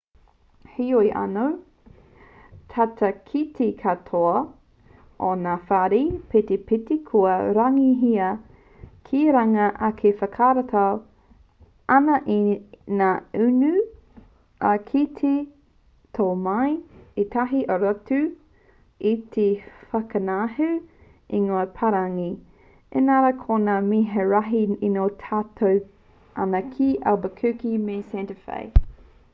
heoi anō tata ki te katoa o ngā whare petipeti kua rārangihia ki runga ake e whakarato ana i ngā inu ā kei te tō mai ētahi o rātou i te whakangahau ingoa-parani inarā ko ngā mea rahi e tino tata ana ki albuquerque me santa fe